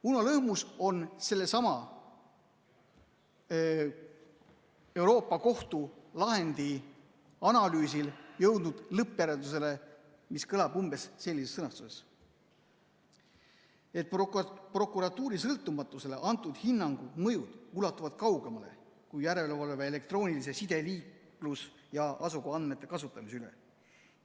Uno Lõhmus on sellesama Euroopa Liidu Kohtu kohtulahendi analüüsil jõudnud lõppjäreldusele, mis on umbes sellises sõnastuses, et prokuratuuri sõltumatusele antud hinnangu mõjud ulatuvad kaugemale kui järelevalve elektroonilise side, liiklus- ja asukohaandmete kasutamise üle.